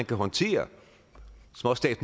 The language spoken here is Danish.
kan håndtere